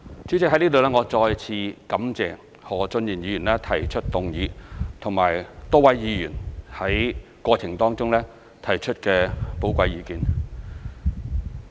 主席，我在此再次感謝何俊賢議員提出議案，以及多位議員在過程中提出寶貴意見。